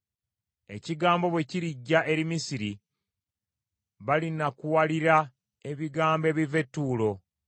Ekigambo bwe kirijja eri Misiri, balinakuwalira ebigambo ebiva e Tuulo.